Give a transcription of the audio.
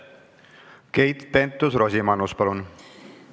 Keit Pentus-Rosimannus, palun!